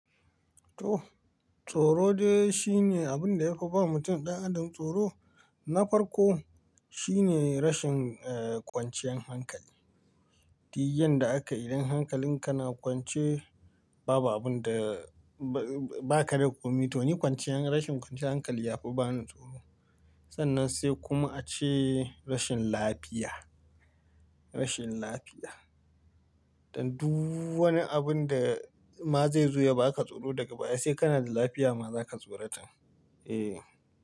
To, tsoro dai shine abin da ya fi ba mutum ɗan adam tsoro, na farko shine rashin, eh, kwanciyan hankali. Duk yadda aka yi idan hankalin ka na kwance babu abin da ba ka da komi to ni kwanciyan rashin kwanciyan hankali ya fi bani tsoro. Sannan sai kuma ace rashin lafiya, rashin lafiya. Dan duk wani abun da ma zai zo ya baka tsoro daga baya sai kana da lafiya ma zaka tsorata. Eh.